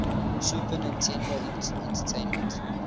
super nintendo entertainment